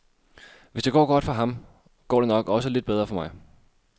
Hvis det går godt for ham, går det nok også lidt bedre for mig.